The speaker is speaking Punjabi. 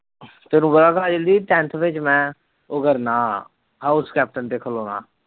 ਤੈਨੂੰ ਪਤਾ ਕਾਜਲ ਦੀ tenth ਵਿੱਚ ਮੈਂ ਉਹ ਕਰਨਾ house captain ਤੇ ਖਿਲੋਣਾ